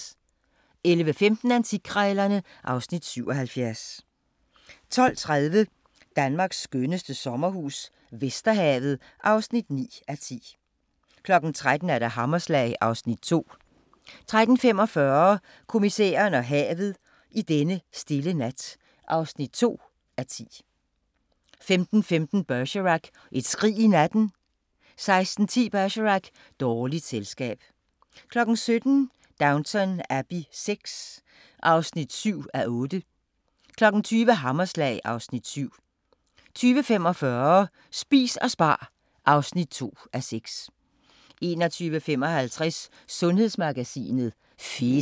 11:15: Antikkrejlerne (Afs. 77) 12:30: Danmarks skønneste sommerhus - Vesterhavet (9:10) 13:00: Hammerslag (Afs. 2) 13:45: Kommissæren og havet: I denne stille nat (2:10) 15:15: Bergerac: Et skrig i natten 16:10: Bergerac: Dårligt selskab 17:00: Downton Abbey VI (7:8) 20:00: Hammerslag (Afs. 7) 20:45: Spis og spar (2:6) 21:55: Sundhedsmagasinet: Fedt